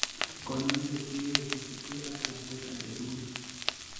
kanyoiset keyoe kosubkei ak lakwet age tugul